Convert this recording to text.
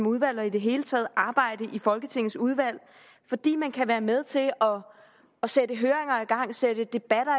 udvalg og det hele taget arbejde i folketingets udvalg fordi man kan være med til at sætte høringer i gang sætte debatter